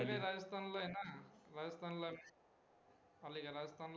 राजस्थान ला ए ना, राजस्थान